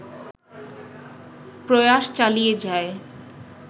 প্রয়াস চালিয়ে যায়